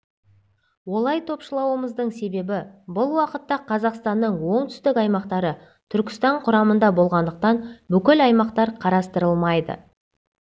олай топшылауымыздың себебі бұл уақытта қазақстанның оңтүстік аймақтары түркістан құрамында болғандықтан бұл аймақтар қарастырылмайды